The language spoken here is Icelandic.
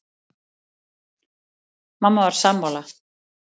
Sléttuúlfurinn sætir þá lagi og grípur bráðina.